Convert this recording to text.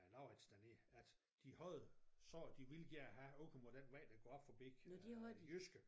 Laurits dernede at de havde sagt de ville gerne have åben på den vej der kom op forbi Jyske